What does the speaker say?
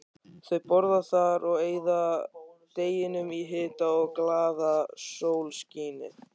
Þau borða þar og eyða deginum í hita og glaðasólskini.